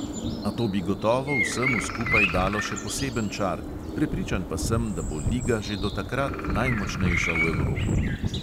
A to bi gotovo vsemu skupaj dalo še poseben čar, prepričan pa sem, da bo liga že do takrat najmočnejša v evropi.